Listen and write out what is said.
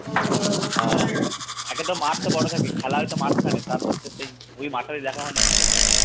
একে তো মাঠ তো বড় থাকে খেলা হচ্ছে মাঠ ওখানে তারপর তো সেই ওই মাঠে দেখা মানে